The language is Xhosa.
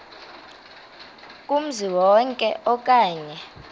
kumzi wonke okanye